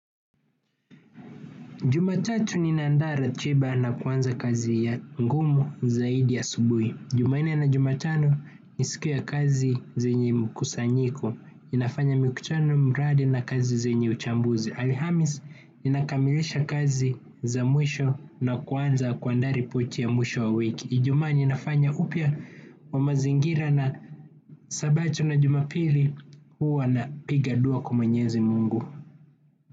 Jumatatu ninaandaa ratiba na kuanza kazi ya ngumu zaidi asubuhi. Jumanne na Jumatano ni siku ya kazi zenye mkusanyiko. Ninafanya mikutano mradi na kazi zenye uchambuzi. Alhamisi ninakamilisha kazi za mwisho na kuanza kuandaa ripoti ya mwisho wa wiki. Ijumaa ninafanya upya wa mazingira na sabato na Jumapili huwa napiga dua kwa mwenyezi Mungu.